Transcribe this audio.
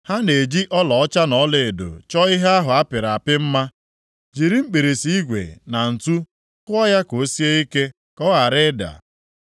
Ha na-eji ọlaọcha na ọlaedo chọọ ihe ahụ a pịrị apị mma, jiri mkpirisi igwe na ǹtu kụọ ya ka o sie ike, ka ọ ghara ịda.